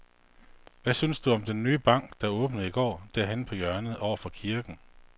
Hvad synes du om den nye bank, der åbnede i går dernede på hjørnet over for kirken?